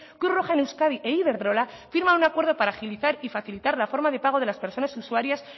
cruz roja en euskadi e iberdrola firman un acuerdo para agilizar y facilitar la forma de pago de las personas usuarias